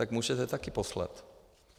Tak můžete taky poslat.